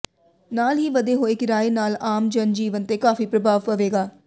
ਨਾਲ ਹੀ ਵਧੇ ਹੋਏ ਕਿਰਾਏ ਨਾਲ ਆਮ ਜਨ ਜੀਵਨ ਤੇ ਕਾਫੀ ਪ੍ਰਭਾਵ ਪਵੇਗਾ